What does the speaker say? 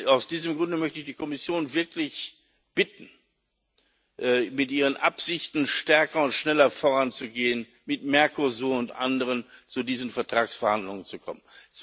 Aus diesem Grund möchte ich die Kommission wirklich bitten, mit ihren Absichten stärker und schneller voranzugehen, mit Mercosur und anderen zu diesen Vertragsverhandlungen zu kommen.